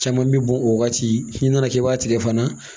Caman bi bɔn o wagati n'i nana k'i b'a tigɛ fana